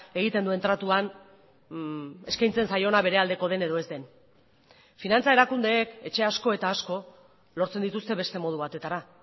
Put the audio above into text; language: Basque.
egiten duen tratuan eskaintzen zaiona bere aldeko den edo ez den finantza erakundeek etxea asko eta asko lortzen dituzte beste modu batetara